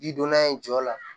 Ji donna in jɔ la